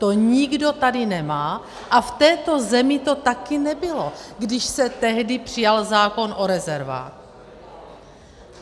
To nikdo tady nemá a v této zemi to taky nebylo, když se tehdy přijal zákon o rezervách.